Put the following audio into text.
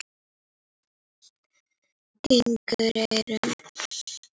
gegnum eyrun.